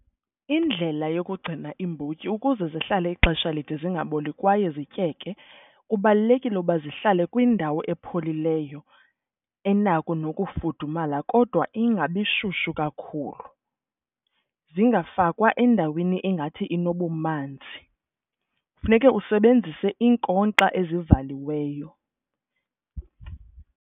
Indlela yokugcina iimbotyi ukuze zihlale ixesha elide zingaboli kwaye zityeke kubalulekile ukuba zihlale kwindawo epholileyo enakho nokufudumala kodwa ingabi shushu kakhulu. Zingafakwa endaweni engathi inobumanzi, funeke usebenzise iinkonkxa ezivaliweyo.